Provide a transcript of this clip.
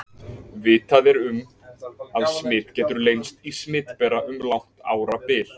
Vitað er um, að smit getur leynst í smitbera um langt árabil.